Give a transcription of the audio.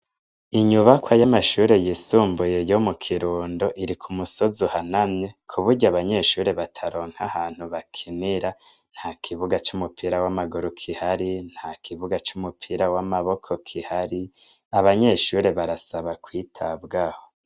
Inyubakwa y'amashure yisumbuye yo mu Kirundo iri ku musozi uhanamye ku buryo abanyeshure bataronka ahantu bakinira, nta kibuga c'umupira w'amaguru kihari, nta kibuga c'umupira w'amaboko kihari, abanyeshure barasabwa kwitabwaho.